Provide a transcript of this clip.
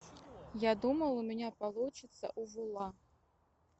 я думал у меня получится увула